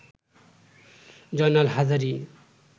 Joynal Hazari